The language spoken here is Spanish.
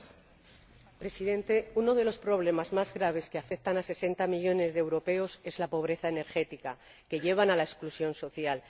Señor Presidente, uno de los problemas más graves que afecta a sesenta millones de europeos es la pobreza energética, que lleva a la exclusión social.